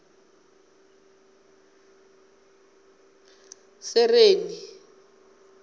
sereni